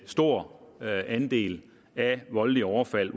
stor andel af voldelige overfald